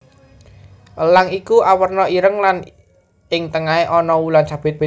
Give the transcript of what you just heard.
Elang iki awerna ireng lan ing tengahé ana wulan sabit